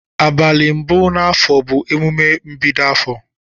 Abali mbu na afọọ bu emume mbi afọọ.